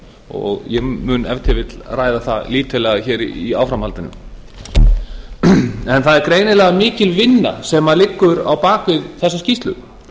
og ég mun ef til vill ræða það lítillega í áframhaldinu það er greinilega mikil vinna sem liggur á bak við þessa skýrslu